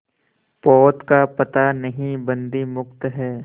पोत का पता नहीं बंदी मुक्त हैं